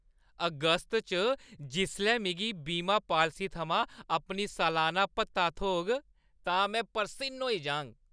अगस्त च जिसलै मिगी बीमा पालसी थमां अपनी सलाना भत्ता थ्होग, तां में परसिन्न होई जाह्ङ।